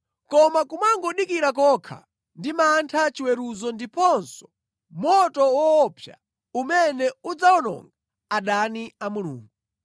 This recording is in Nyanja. Koma kumangodikira kokha ndi mantha chiweruzo ndiponso moto woopsa umene udzawononga adani a Mulungu